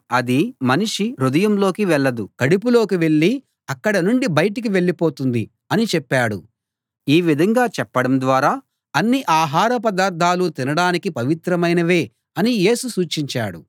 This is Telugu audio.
అది మనిషి హృదయంలోకి వెళ్ళదు కడుపులోకి వెళ్ళి అక్కడ నుండి బయటకు వెళ్ళిపోతుంది అని చెప్పాడు ఈ విధంగా చెప్పడం ద్వారా అన్ని ఆహార పదార్ధాలూ తినడానికి పవిత్రమైనవే అని యేసు సూచించాడు